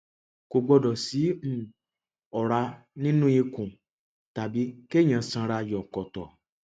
kò gbọdọ sí um ọrá nínú ikùn tàbí kéèyàn sanra yọkọtọ